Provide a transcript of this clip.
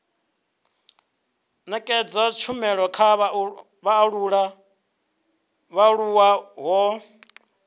nekedza tshumelo kha vhaaluwa ho